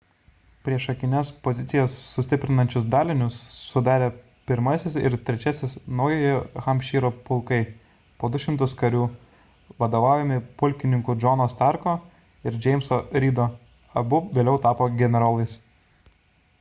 priešakines pozicijas sustiprinančius dalinius sudarė 1-asis ir 3-iasis naujojo hampšyro pulkai po 200 karių vadovaujami pulkininkų johno starko ir jameso reedo abu vėliau tapo generolais